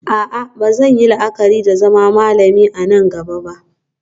A'a ba zan yi la'akari da zama malami a nan gaba ba